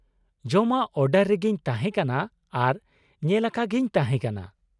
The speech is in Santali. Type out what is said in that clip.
ᱡᱚᱢᱟᱜ ᱚᱰᱟᱨ ᱨᱮᱜᱤᱧ ᱛᱟᱦᱮᱸ ᱠᱟᱱᱟ ᱟᱨ ᱧᱮᱞᱟᱠᱟᱜᱤᱧ ᱛᱟᱦᱮᱸ ᱠᱟᱱᱟ ᱾